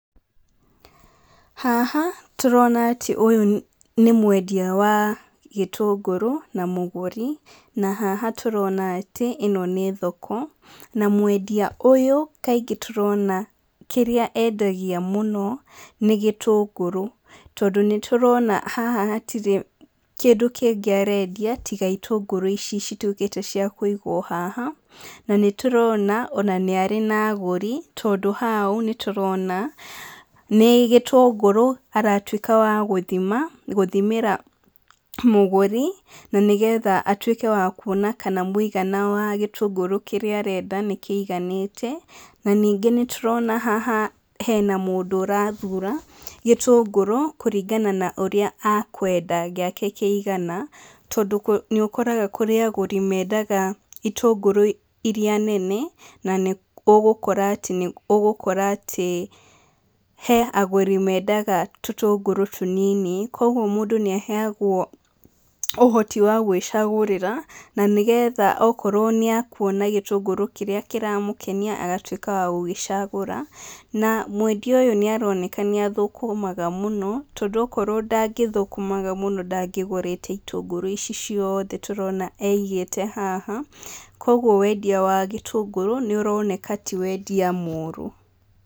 Haha tũrona atĩ ũyũ nĩ mwendia wa gĩtũngũrũ na mũgũri, na haha tũrona atĩ ĩno nĩ thoko. Na mwendia ũyũ kaingĩ tũrona kĩrĩa endagia mũno nĩ gĩtũngũrũ tondũ nĩ tũrona haha gũtirĩ kĩndũ kĩngĩ arendia tiga itũngũrũ ici cituĩkĩte cia kũigwo haha. Na nĩ tũrona ona nĩ arĩ na agũri tondũ haha nĩ tũrona nĩ gĩtũngũrũ aratuĩka wa gũthimĩra mũgũri na nĩgetha atuĩke wa kuona kana mũigana wa gĩtũngũrũ kĩrĩa arenda nĩ kĩiganĩte. Na ningĩ nĩ tũrona haha hena mũndũ ũrathura gĩtũngũrũ kũringana na ũria a kwenda gĩake kĩigana. Tondũ nĩ ũkoraga kũrĩ agũri mendaga itũngũrũ irĩa nene na nĩ ũgũkora atĩ he agũri mendaga tũtũngũrũ tũnini. Kwoguo mũndũ nĩ aheagwo ũhoti wa gwĩcagũrĩra na nĩgetha okorwo nĩ akuona gĩtũngũrũ kĩrĩa kĩramũkenia agatuĩka wa gũgĩcagũra. Na mwendia ũyũ nĩ aroneka nĩ athũkũmaga mũno tondũ akorwo ndangĩthũkũmaga mũno ndangĩgũrĩte itũngũrũ ici ciothe tũrona aigĩte haha. Kwoguo wendia wa itũngũru nĩ ũroneka tĩ wendia mũũru.